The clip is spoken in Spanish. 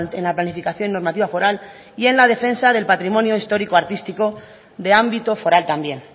en la planificación normativa foral y en la defensa del patrimonio histórico artístico de ámbito foral también